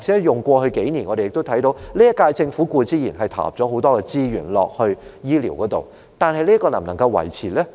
以過去數年來說，我們看到今屆政府固然對醫療投入很多資源，但這方面究竟能否繼續維持？